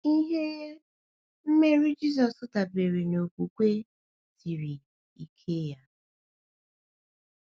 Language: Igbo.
Ihe um mmeri Jisọshụ dabere n’okwukwe siri um ike ya.